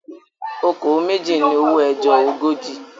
"Okòó méjì" ni owó ẹjọ́ ogójì.